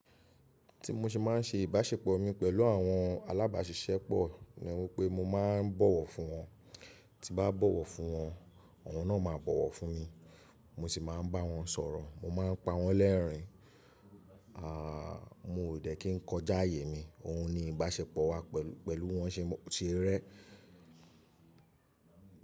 Tí mo ṣe má n ṣe ìbáṣepọ̀ mi pẹ̀lú àwọn alábàáṣiṣẹ́ pọ̀ ní wípé mó maá n bọ̀wọ̀ fún wọn, tí n bá bọ̀wọ̀ fún wọn, awọn náà máa bọ̀wọ̀ fún mi, mó sì máa n bá wọn sọ̀rọ̀, mó máa n pa wọ́n lẹ́ẹ̀rín, aà mó ò dẹ́ kí n kọjá ààyè mi, òhun ni ìbáṣepọ̀ wa pẹ̀lú wọ́n ṣe rẹ́.